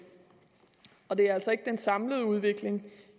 og det er altså ikke den samlede udvikling